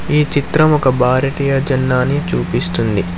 ఈ చిత్రం ఒక భారతీయ జెండాని చూపిస్తుంది.